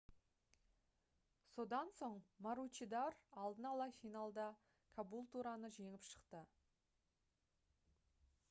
содан соң маручидор алдын-ала финалда кабултураны жеңіп шықты